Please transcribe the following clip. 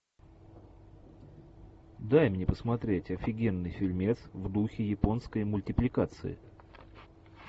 дай мне посмотреть офигенный фильмец в духе японской мультипликации